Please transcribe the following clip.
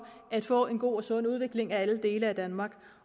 at få en god og sund udvikling af alle dele af danmark